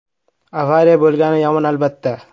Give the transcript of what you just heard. “Avariya bo‘lgani yomon, albatta.